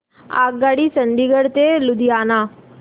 आगगाडी चंदिगड ते लुधियाना